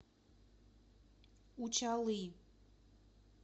учалы